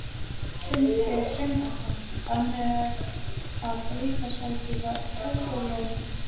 Sindri Sindrason: Þannig að ríkisvaldið var óþolinmótt?